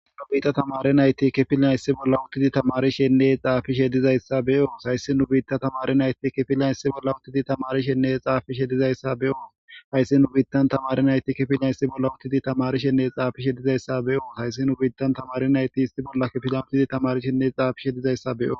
Nu biita tamare nayti kifilnan issi bolla uttidi tamarishenne xaafishe dizayssa beyoos hayssi nu biita tamare nayti kifilan issi bolla uttidi tamari shenne xaafishe dizayssa beyoo hayssi nu biittan tamari nayti kifilna issi bolla uttidi tamarishenne xaafishe dizayssa beyoos hayssi nu biittan tamari nayti isti bollakkefilamtidi tamarishenne xaafishe dizayssa be7o